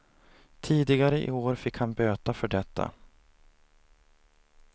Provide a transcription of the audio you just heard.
Tidigare i år fick han böta för detta.